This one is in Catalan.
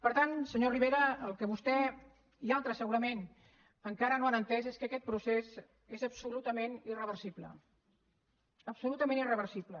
per tant senyor rivera el que vostè i altres segurament encara no han entès és que aquest procés és absolutament irreversible absolutament irreversible